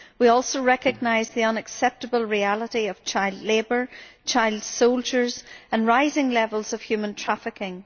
We also recognise the unacceptable reality of child labour, child soldiers and rising levels of human trafficking.